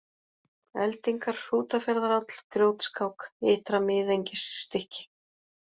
Eldingar, Hrútafjarðaráll, Grjótskák, Ytra-Miðengisstykki